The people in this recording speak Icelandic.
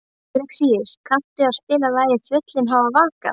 Alexíus, kanntu að spila lagið „Fjöllin hafa vakað“?